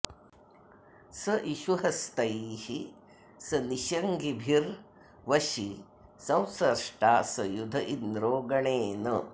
स इषुहस्तैः स निषङ्गिभिर्वशी संस्रष्टा स युध इन्द्रो गणेन